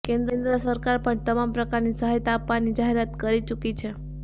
કેન્દ્ર સરકાર પણ તમામ પ્રકારની સહાયતા આપવાની જાહેરાત કરી ચુકી છે